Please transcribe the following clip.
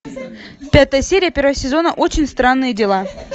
пятая серия первого сезона очень странные дела